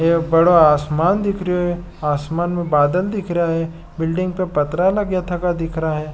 बड़ो आसमान दिख रहो है आसमान में बादल दिख रहा है बिल्डिंग में पत्थर लगा थका दिख रहा है।